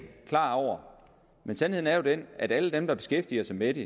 klar over men sandheden er jo den at alle der beskæftiger sig med det